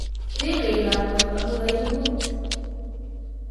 Rirei lakwet amu kaibut